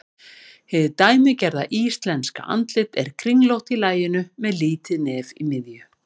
Hið dæmigerða íslenska andlit er kringlótt í laginu með lítið nef í miðju.